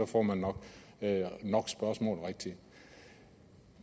får man nok spørgsmål rigtige